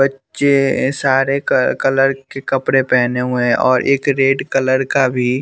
बच्चे ये सारे क कलर के कपड़े पहने हुए हैं और एक रेड कलर का भी--